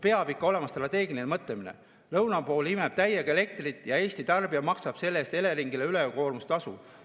Peab ikka olema strateegiline mõtlemine: lõuna pool imeb täiega elektrit ja Eesti tarbija maksab selle eest Eleringile ülekoormustasu!